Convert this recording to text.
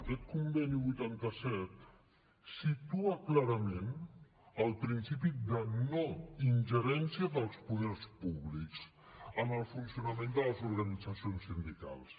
aquest conveni vuitanta set situa clarament el principi de no ingerència dels poders públics en el funcionament de les organitzacions sindicals